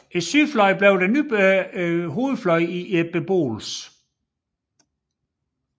Sydfløjen blev den nye hovedfløj i beboelsen